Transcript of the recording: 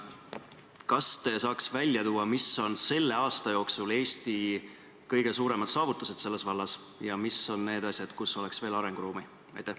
Kas te saaks välja tuua, mis on selle aasta jooksul olnud Eesti kõige suuremad saavutused selles vallas ja mis on need asjad, kus on veel arenguruumi?